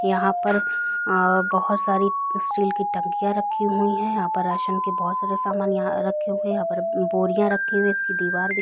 यहाँ पर बहुत सारी स्टील की टंकिया रखी हुई है यहाँ पर राशन की बहुत सारा समान यहाँ रखे हुए है यहाँ पर बोरियां रखी हुई है उसकी दीवार दिखा--